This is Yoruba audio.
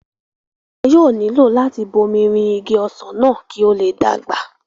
wọn yóò nílò láti bomirin Igi ọsàn náà kí ó le dàgbà